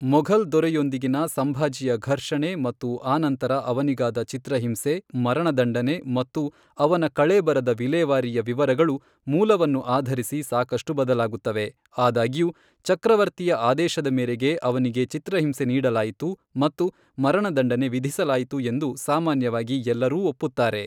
ಮೊಘಲ್ ದೊರೆಯೊಂದಿಗಿನ ಸಂಭಾಜಿಯ ಘರ್ಷಣೆ ಮತ್ತು ಆನಂತರ ಅವನಿಗಾದ ಚಿತ್ರಹಿಂಸೆ, ಮರಣದಂಡನೆ ಮತ್ತು ಅವನ ಕಳೇಬರದ ವಿಲೇವಾರಿಯ ವಿವರಗಳು, ಮೂಲವನ್ನು ಆಧರಿಸಿ ಸಾಕಷ್ಟು ಬದಲಾಗುತ್ತವೆ, ಆದಾಗ್ಯೂ ಚಕ್ರವರ್ತಿಯ ಆದೇಶದ ಮೇರೆಗೆ ಅವನಿಗೆ ಚಿತ್ರಹಿಂಸೆ ನೀಡಲಾಯಿತು ಮತ್ತು ಮರಣದಂಡನೆ ವಿಧಿಸಲಾಯಿತು ಎಂದು ಸಾಮಾನ್ಯವಾಗಿ ಎಲ್ಲರೂ ಒಪ್ಪುತ್ತಾರೆ.